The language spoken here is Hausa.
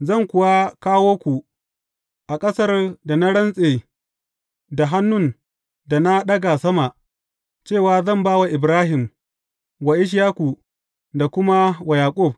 Zan kuwa kawo ku a ƙasar da na rantse da hannun da na ɗaga sama, cewa zan ba wa Ibrahim, wa Ishaku, da kuma wa Yaƙub.